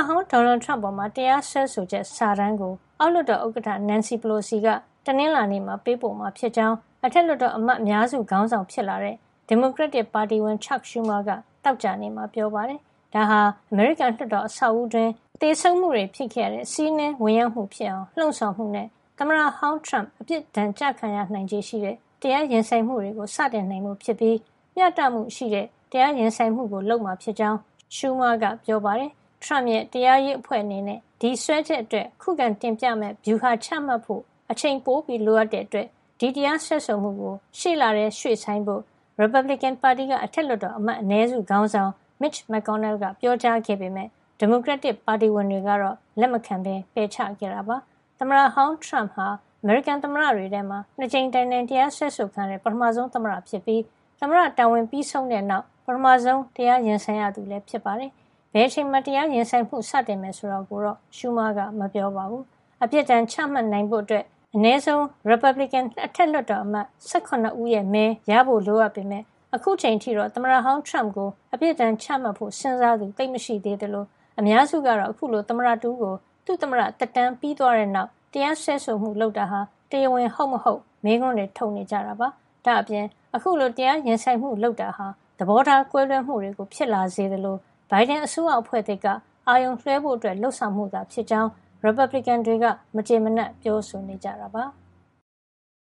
ဟောင်း ဒေါ်နယ်ထရမ့်အပေါ် တရားစွဲဆိုချက် စာတမ်းကို အောက်လွှတ်တော် ဥက္ကဌ Nancy Pelosi က တနင်္လာနေ့မှာ ပေးပို့မှာဖြစ်ကြောင်း အထက်လွှတ်တော် အမတ်အများစုခေါင်းဆောင် ဖြစ်လာတဲ့ ဒီမိုကရက်တစ်ပါတီဝင် Chuck Schumer က သောကြာနေ့မှာ ပြောပါတယ်။ ဒါဟာ အမေရိကန်လွှတ်တော် အဆောက်အဦးတွင်း သေဆုံးမှုဖြစ်ခဲ့ရတဲ့ ဝင်ရောက်စီးနင်းမှု ဖြစ်အောင် လှုံ့ဆော်မှုနဲ့ သမ္မတဟောင်းထရမ့် အပြစ်ဒဏ်ကျခံရနိုင်ချေရှိတဲ့ တရားရင်ဆိုင်မှုတွေ စတင်နိုင်ဖို့ ဖြစ်ပြီး မ ျှတမှုရှိတဲ့ တရားရင်ဆိုင်မှု လုပ်မှာ ဖြစ်ကြောင်း Chuck Schumer က ပြောပါတယ်။ ထရမ့်ရဲ့ တရားရေးအဖွဲ့အနေနဲ့ ဒီစွဲချက်အတွက် ခုခံတင်ပြမယ့် ဗျူဟာချဖို့ အချိန်ပိုလိုအပ်တာကြောင့် ဒီ တရားစွဲဆိုမှုကို ရှေ့လထဲ ရွှေ့ဆိုင်းဖို့ ရီပတ်ဘလစ်ကင်ပါတီက အထက်လွှတ်တော် အမတ်အနည်းစု ခေါင်းဆောင် Mitch McConnell က ပြောကြားခဲ့ပေမယ့် ဒီမိုကရက်တစ်ပါတီဝင်တွေက လက်မခံ ပယ်ချခဲ့တာပါ။ သမ္မတဟောင်း ထရမ့်ဟာ အမေရိကန်သမ္မတတွေထဲမှာ ၂ ကြိမ်တိုင်တိုင် တရားစွဲဆိုခံရတဲ့ ပထမဆုံး သမ္မတဖြစ်ပြီး သမ္မတတာဝန်ပြီးဆုံးတဲ့ နောက် ပထမဆုံး တရားရင်ဆိုင်ရသူလည်း ဖြစ်ပါတယ်။ ဘယ်အချိန်မှာ တရားရင်ဆိုင်မှုကို စတင်မယ် ဆိုတာကိုတော့ Schumer ကမပြောပါဘူး။ အပြစ်ဒဏ်ချမှတ်နိုင်ဖို့ အတွက် အနည်းဆုံး ရီပတ်ဘလစ်ကင် အထက်လွှတ်တော် အမတ် ၁၇ ဦးရဲ့ မဲရဖို့ လိုအပ်ပေမယ့် ခုချိန်အထိတော့ သမ္မတဟောင်း ထရမ့်ကို အပြစ်ဒဏ်ချမှတ်ဖို့ စဉ်းစားသူ သိပ်မရှိသေးသလို အများစုကတော့ အခုလို သမ္မတတဦးကို သူ့သမ္မတသက်တမ်းပြီးသွားတဲ့နောက် တရားစွဲဆိုမှု လုပ်တာဟာ တရားဝင်ဟုတ်မဟုတ် မေးခွန်းထုတ်နေကြတာဖြစ်ပါတယ်။ ဒါ့အပြင် အခုလို တရားရင်ဆိုင်မှု လုပ်တာဟာ သဘောထားကွဲလွဲမှုတွေ ဖြစ်လာစေသလို ဘိုင်ဒန်အစိုးရအဖွဲ့သစ် က အာရုံလွှဲဖို့ လုပ်ဆောင်မှုသာ ဖြစ်ကြောင်း ရီပတ်ဘလစ်ကင် တွေက မကျေမနပ် ပြောဆိုနေကြတာပါ။